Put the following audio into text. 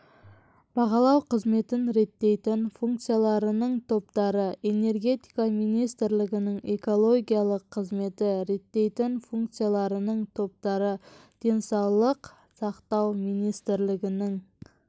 бағалау қызметін реттейтін функцияларының топтары энергетика министрлігінің экологиялық қызметті реттейтін функцияларының топтары денсаулық сақтау министрлігінің